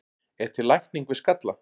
Er til lækning við skalla?